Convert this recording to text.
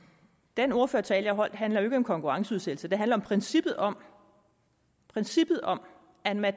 den ordførertale jeg holdt handlede om konkurrenceudsættelse den handlede om princippet om princippet om at man